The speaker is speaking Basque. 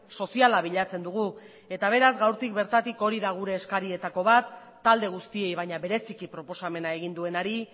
soziala bilatzen dugu eta beraz gaurtik bertatik hori da gure eskarietako bat talde guztiei baina bereziki proposamena egin duenari